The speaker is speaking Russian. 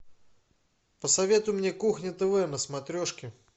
посоветуй мне кухня тв на смотрешке